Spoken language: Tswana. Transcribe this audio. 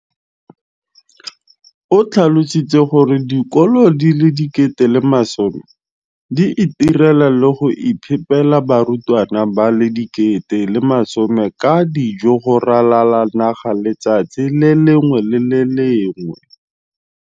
o tlhalositse gore dikolo di le 20 619 di itirela le go iphepela barutwana ba le 9 032 622 ka dijo go ralala naga letsatsi le lengwe le le lengwe.